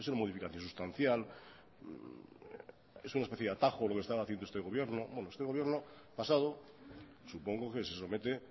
modificación sustancial es una especie de atajo lo que está haciendo este gobierno bueno este gobierno pasado supongo que se somete